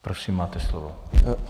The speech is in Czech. Prosím, máte slovo.